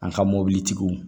An ka mobilitigiw